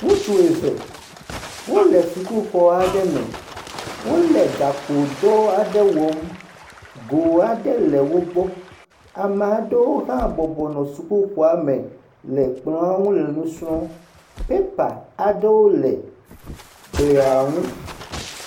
Ŋutsu eve wole sukuxɔ aɖe me. Wole gakpodɔ aɖe wɔm. Go aɖe le wogbɔ. Ame aɖewo hã bɔbɔ nɔ sukuxɔame le kplɔ̃a ŋu le nu srɔ̃m. Pépa aɖewo le glia ŋu.